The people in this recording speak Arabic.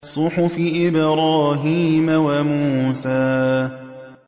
صُحُفِ إِبْرَاهِيمَ وَمُوسَىٰ